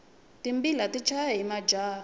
timbila ti chaya hi majaha